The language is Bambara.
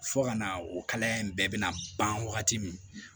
Fo ka na o kalaya in bɛɛ bɛ na ban wagati min